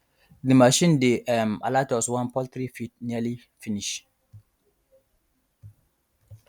the machine dey um alert us wen poultry feed nearly finish